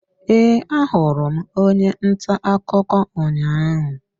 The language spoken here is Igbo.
Ee, ahụrụ m onye nta akụkọ ụnyahụ.